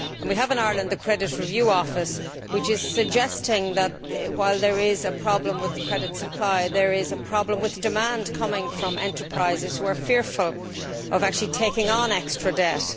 We have in Ireland the Credit Review Office, which is suggesting that while there is a problem with credit supply there is also a problem with demand from enterprises, which are fearful of actually taking on extra debt.